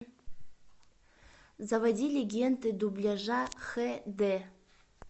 заводи легенды дубляжа хд